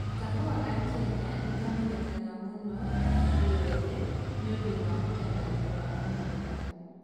Kahua ka Kenya nĩ kamenyekaga mũno thĩ yothe nĩ ũndũ wa mũtararĩko wako mwega na mũtararĩko wako mwega.